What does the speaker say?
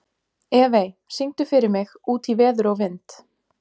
Evey, syngdu fyrir mig „Út í veður og vind“.